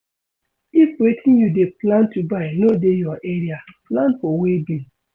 If wetin you dey plan to buy no dey your area plan for weighbill